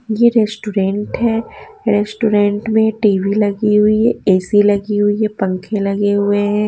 यह रेस्टोरेंट है रेस्टोरेंट में टी_वी लगी हुई है ए_सी लगी हुई है पंखे लगे हुए हैं।